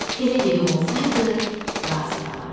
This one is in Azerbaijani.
Elə evim olsaydı, razı qalardım.